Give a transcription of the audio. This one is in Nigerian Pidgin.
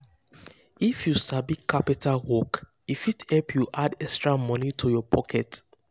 if you sabi carpenter work e fit help you add extra money to your pocket.